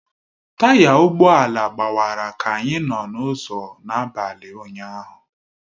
Taya ụgbọ ala gbawara ka anyị nọ n'ụzọ n'abalị ụnyahụ